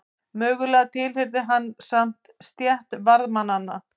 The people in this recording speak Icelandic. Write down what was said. Mögulega tilheyrði hann samt stétt varðmanna.